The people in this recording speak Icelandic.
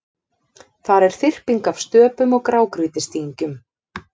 Þar er þyrping af stöpum og grágrýtisdyngjum.